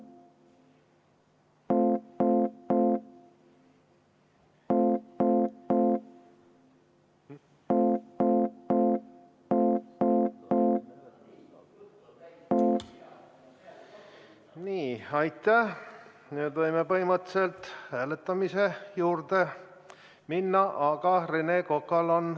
Aitäh, lugupeetud esimees!